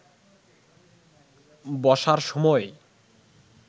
বসার সময়